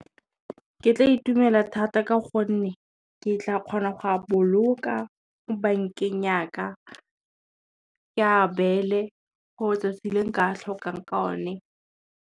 Ke tla itumela thata ka gonne, ke tla kgona go a boloka bankeng ya ka, ke a beele gore 'tsatsi le nka tlhokang ka one.